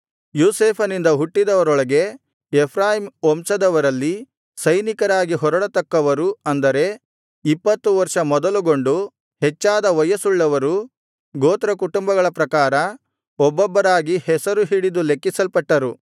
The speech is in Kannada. ಯೋಸೇಫನಿಂದ ಹುಟ್ಟಿದವರೊಳಗೆ ಎಫ್ರಾಯೀಮ್ ವಂಶದವರಲ್ಲಿ ಸೈನಿಕರಾಗಿ ಹೊರಡತಕ್ಕವರು ಅಂದರೆ ಇಪ್ಪತ್ತು ವರ್ಷ ಮೊದಲುಗೊಂಡು ಹೆಚ್ಚಾದ ವಯಸ್ಸುಳ್ಳವರು ಗೋತ್ರಕುಟುಂಬಗಳ ಪ್ರಕಾರ ಒಬ್ಬೊಬ್ಬರಾಗಿ ಹೆಸರು ಹಿಡಿದು ಲೆಕ್ಕಿಸಲ್ಪಟ್ಟರು